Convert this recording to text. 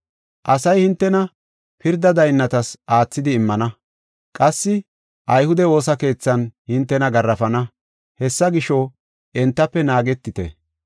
Asay hintena pirda daynnatas aathidi immana, qassi ayhude woosa keethan hintena garaafana. Hessa gisho, entafe naagetite.